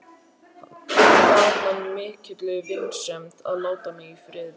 Bað hann í mikilli vinsemd að láta mig í friði.